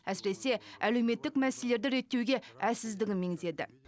әсіресе әлеуметтік мәселелерді реттеуге әлсіздігін меңзеді